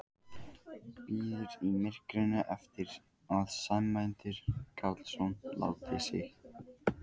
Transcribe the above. Bíður í myrkrinu eftir að Sæmundur Karlsson láti sjá sig.